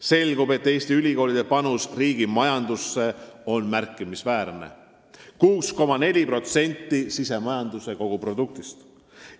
Selgub, et Eesti ülikoolide panus riigi majandusse on märkimisväärne: 6,4% sisemajanduse kogutoodangust.